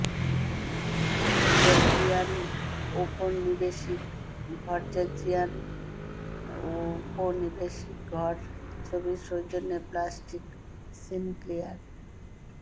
Georgian ঔপনিবেশিক ঘর Georgian ঔপনিবেশিক ঘর ছবির সৌজন্যে প্যাট্রিক সিনক্লিয়ার